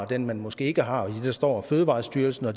den man måske ikke har idet der står fødevarestyrelsen og